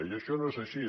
i això no és així